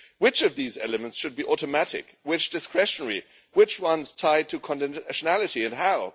Which of these elements should be automatic, which discretionary, and which ones tied to nationality and how?